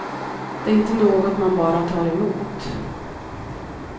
Det är inte något man bara tar emot.